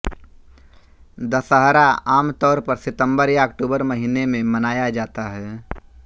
दशहरा आम तौर पर सितंबर या अक्टूबर महीने में मनाया जाता है